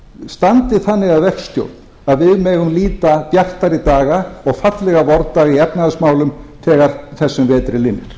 standi þannig að verkstjórn að við megum nýta bjartari daga og fallegri vordaga í efnahagsmálum þegar þessum vetri linnir